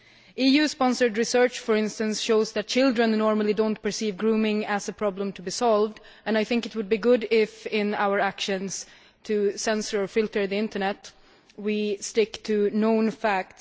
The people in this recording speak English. EU sponsored research, for instance, shows that children normally do not perceive grooming as a problem to be solved and I think it would be good if, in our actions to censor or filter the internet, we stick to known facts.